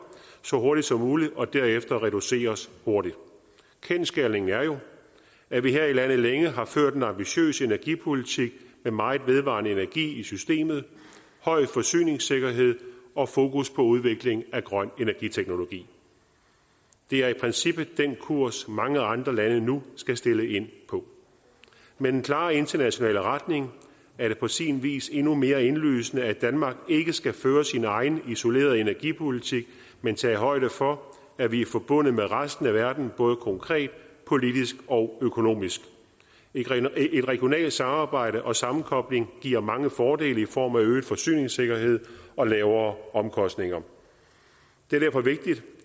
så hurtigt som muligt og derefter reduceres hurtigt kendsgerningen er jo at vi her i landet længe har ført en ambitiøs energipolitik med meget vedvarende energi i systemet høj forsyningssikkerhed og fokus på udvikling af grøn energiteknologi det er i princippet den kurs mange andre lande nu skal stille ind på med den klare internationale retning er det på sin vis endnu mere indlysende at danmark ikke skal føre sin egen isolerede energipolitik men tage højde for at vi er forbundet med resten af verden både konkret politisk og økonomisk et regionalt samarbejde og sammenkobling giver mange fordele i form af øget forsyningssikkerhed og lavere omkostninger det er derfor vigtigt